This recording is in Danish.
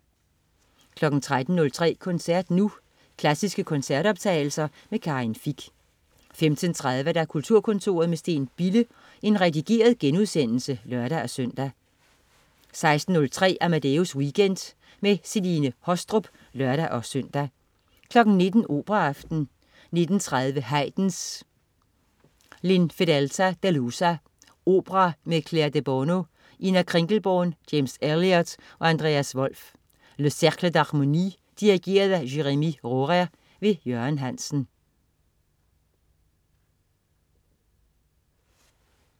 13.03 Koncert Nu. Klassiske koncertoptagelser. Karin Fich 15.30 Kulturkontoret med Steen Bille. Redigeret genudsendelse (lør-søn) 16.03 Amadeus Weekend. Celine Haastrup (lør-søn) 19.00 Operaaften. 19.30 Haydn: L'infedelta delusa. Opera med Claire Debono, Ina Kringelborn, James Elliott og Andreas Wolf. Le Cercle de L'Harmonie. Dirigent: Jérémie Rhorer. Jørgen Hansen